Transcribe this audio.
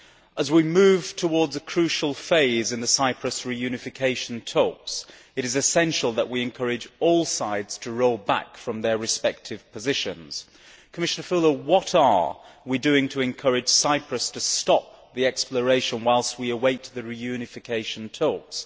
As we move towards a crucial phase in the Cyprus reunification talks, it is essential that we encourage all sides to roll back from their respective positions. Commissioner Füle, what are we doing to encourage Cyprus to stop the exploration whilst we await the reunification talks?